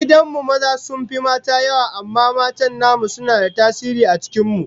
A gidan mu maza sun fi mata yawa amma matan namu suna da tasiri a cikin mu